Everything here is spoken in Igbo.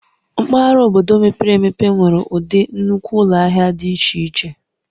Mpaghara obodo mepere emepe nwere ụdị nnukwu ụlọ ahịa dị iche iche.